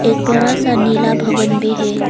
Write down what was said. एक बड़ा सा नीला भवन भी है।